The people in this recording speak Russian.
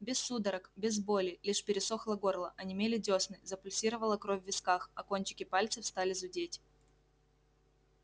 без судорог без боли лишь пересохло горло онемели дёсны запульсировала кровь в висках а кончики пальцев стали зудеть